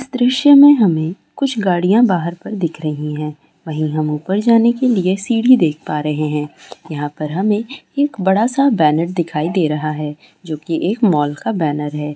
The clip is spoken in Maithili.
दृश्य में हमें कुछ गाड़ियां बाहर पर दिख रही हैं| वहीं हमे ऊपर जाने के लिए सीढ़ी देख पा रहे हैं| यहाँ पर हमें एक बड़ा सा बैनर दिखाई दे रहा है जोकि एक मॉल का बैनर है |